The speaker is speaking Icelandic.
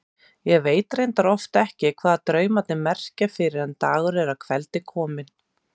Ég veit reyndar oft ekki hvað draumarnir merkja fyrr en dagur er að kveldi kominn.